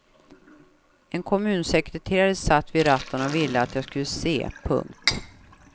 En kommunsekreterare satt vid ratten och ville att jag skulle se. punkt